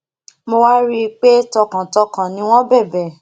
mo wá rí i pé tọkàntọkàn ni wọn bẹbẹ